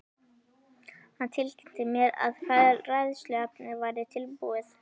Hann tilkynnti mér, að fræðsluefnið væri tilbúið